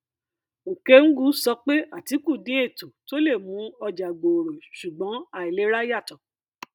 okengwu sọ pé atiku ní ètò tó le mú ọjà gbòòrò ṣùgbọn àìlera yàtọ